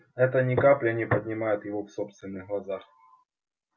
это ни капли не поднимет его в собственных глазах